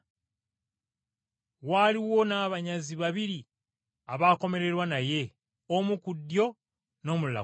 Waaliwo n’abanyazi babiri abaakomererwa naye omu ku ddyo, n’omulala ku kkono.